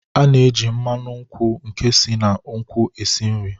A na-eji mmanụ akwụ nke si na nkwụ esi nri.